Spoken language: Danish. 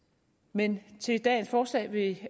men til dagens forslag vil